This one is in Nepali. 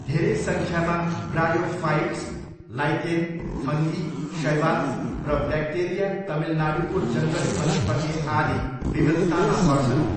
धेरै सङ्ख्यामा ब्रायोफाइट्स, लाइकेन, फङ्गी, शैवाल र ब्याक्टेरिया तमिलनाडुको जङ्गली वनस्पति आदि विविधतामा पर्छन्।